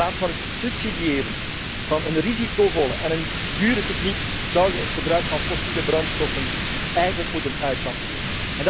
In plaats van het subsidiëren van een risicovolle en dure techniek, zouden we het gebruik van fossiele brandstoffen eigenlijk moeten uitfaseren.